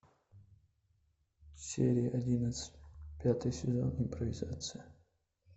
серия одиннадцать пятый сезон импровизация